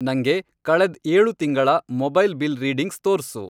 ನಂಗೆ, ಕಳೆದ್ ಏಳು ತಿಂಗಳ ಮೊಬೈಲ್ ಬಿಲ್ ರೀಡಿಂಗ್ಸ್ ತೋರ್ಸು.